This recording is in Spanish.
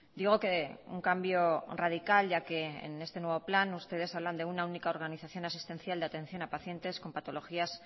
digo que un cambio radical ya que en este nuevo plan ustedes hablan de una única organización asistencial de atención a pacientes con patologías